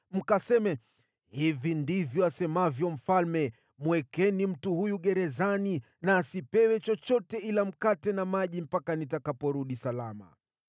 Mkaseme, ‘Hivi ndivyo asemavyo mfalme: Mwekeni mtu huyu gerezani na asipewe chochote ila mkate na maji mpaka nitakaporudi salama.’ ”